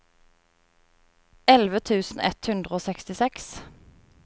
elleve tusen ett hundre og sekstiseks